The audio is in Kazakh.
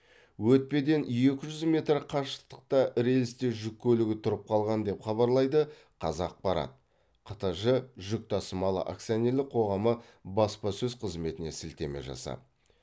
өтпеден екі жүз метр қашықтықта рельсте жүк көлігі тұрып қалған деп хабарлайды қазақпарат қтж жүк тасымалы акционерлік қоғамы баспасөз қызметіне сілтеме жасап